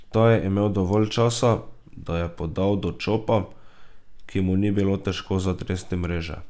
Ta je imel dovolj časa, da je podal do Čopa, ki mu ni bilo težko zatresti mreže.